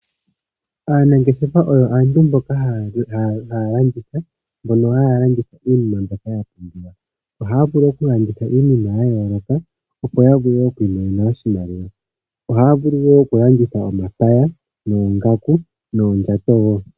Aanangeshefa oyo aantu mboka haya landitha mbono haya landitha iinima mbyoka ya pumbiwa. Ohaya vulu okulanditha iinima ya yooloka, opo ya vule oku imonena oshimaliwa. Ohaya vulu wo okulanditha omapaya, oongaku noondjato wo.